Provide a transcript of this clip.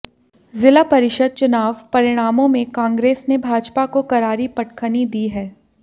ज़िला परिषद चुनाव परिणामों में कांग्रेस ने भाजपा को करारी पटखनी दी है